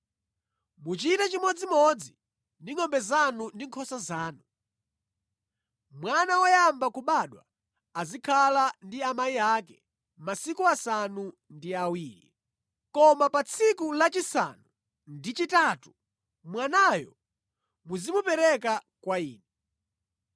Muchite chimodzimodzi ndi ngʼombe zanu ndi nkhosa zanu. Mwana woyamba kubadwa azikhala ndi amayi ake masiku asanu ndi awiri. Koma pa tsiku lachisanu ndi chitatu mwanayo muzimupereka kwa Ine.